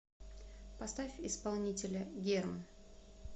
поставь исполнителя герм